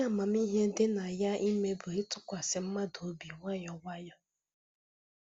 Ihe amamihe dị na ya ime bụ ịtụkwasị mmadụ obi nwayọ nwayọ